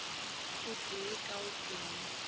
o tee ka o tee